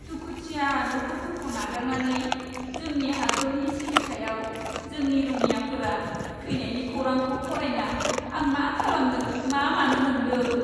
दुखुथिया नखरफोरखौ नागारनानै जोंनि हादोरनि सिबिथाइयाव जोंनि रौनियाफोरा थैनायनि खौरांखौ फरायना आं मा खालामनो मा मानो मोन्दों।